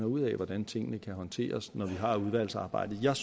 ud af hvordan tingene kan håndteres når vi har udvalgsarbejdet jeg